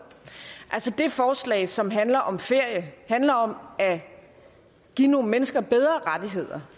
det forslag som handler om ferie handler om at give nogle mennesker bedre rettigheder